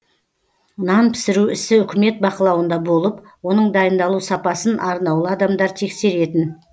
нан пісіру ісі үкімет бақылауында болып оның дайындалу сапасын арнаулы адамдар тексеретін